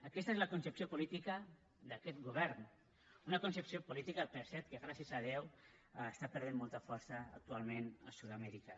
aquesta és la concepció política d’aquest govern una concepció política per cert que gràcies a déu està perdent molta força actualment a sud amèrica